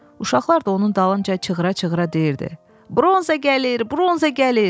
Uşaqlar da onun dalınca çığıra-çığıra deyirdi: "Bronza gəlir, bronza gəlir!"